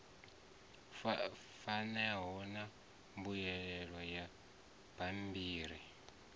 fanaho na mbuyelo ya bammbiri